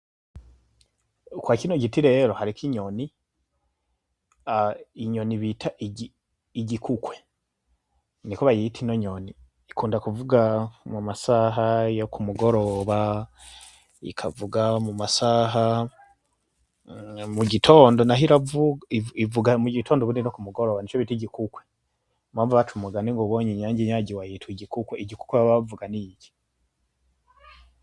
Kwa kino giti rero hariko inyoni. inyoni yitwa ikukwe niko bayita ino nyoni ikunda kuvuga amasaha yo kumugoroba ikavuga amasaha yo mugitondo naho iravuga ,ivuga mugitondo ubundi no kumugoroba nico bita igikukwe. niyompamvu baba baca umugani ngo uwubonye inyange inyagiwe ayita igikukwe igikukwe baba bavuga ni iki.